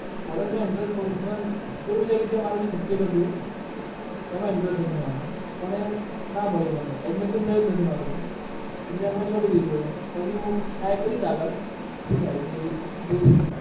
college મા interest કેવું છે કે જે મારુ જે subject હતું એમાં interest હતો મને. પણ એ ના મળ્યું મને admission થયું નથી મારું. એટલે છોડી દીધું પછી હું try કરીશ આગળ શું થાય છે જોઈશું.